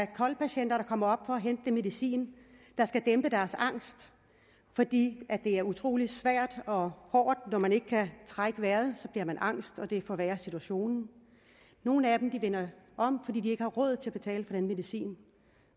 kol patienter der kommer op for at den medicin der skal dæmpe deres angst fordi det er utrolig svært og hårdt når man ikke kan trække vejret så bliver man angst og det forværrer situationen og nogle af dem vender om fordi de ikke har råd til at betale for den medicin